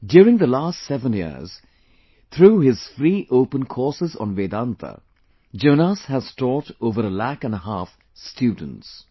During the last seven years, through his free open courses on Vedanta, Jonas has taught over a lakh & a half students